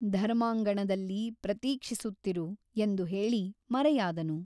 ಧರ್ಮಾಂಗಣದಲ್ಲಿ ಪ್ರತೀಕ್ಷಿಸುತ್ತಿರು ಎಂದು ಹೇಳಿ ಮರೆಯಾದನು.